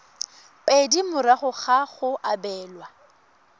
pedi morago ga go abelwa